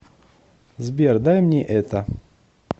сбер дай мне это